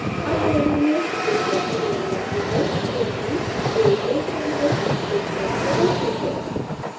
अब पहली image pixels की बनी लगती है क्योंकि एक raster image pixels से बनती है